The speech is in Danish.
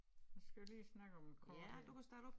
Nu skal vi lige snakke om æ kort her